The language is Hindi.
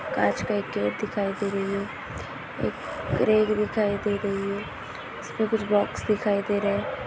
कांच का एक गेट दिखाई दे रही है एक रेक दिखाई दे रही है उस पे कुछ बॉक्स दिखाई दे रहे है।